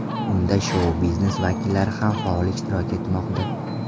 Unda shou-biznes vakillari ham faol ishtirok etmoqda.